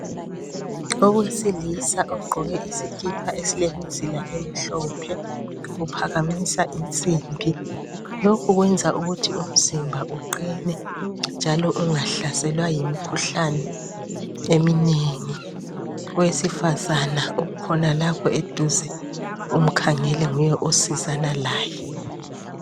Owesilisa ogqoke isikipa silemzila emhlophe uphakamisa insimbi, lokhu kwenza ukuthi umzimba uqine njalo ungahlaselwa yimikhuhlane eminengi. Owesifazana umi khonalapho eduze umkhangele nguye osizana laye.